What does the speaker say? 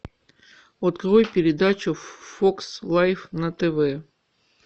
открой передачу фокс лайф на тв